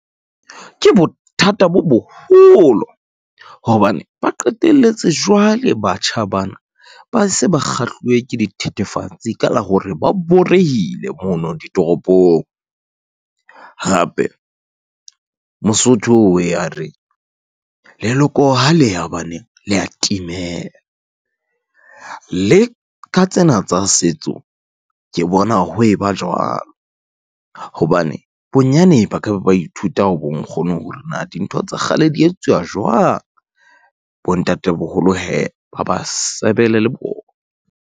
Ke bothata bo boholo, hobane ba qetelletse jwale batjha bana ba se ba kgahluwe ke dithethefatsi ka la hore ba borehile mono ditoropong. Hape, Mosotho o ye a re leloko haleya baneng le ya timela, le ka tsena tsa setso ke bona ho eba jwalo, hobane bonyane ba ka ba ithuta ho bonkgono hore na dintho tsa kgale di etsuwa jwang, bontatemoholo hee ba ba sebele le bona.